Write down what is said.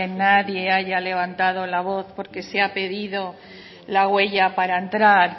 nadie haya levantado la voz porque se ha pedido la huella para entrar